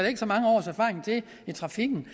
ikke så mange års erfaring til i trafikken